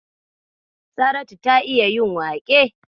Saratu ta iya yin waƙe.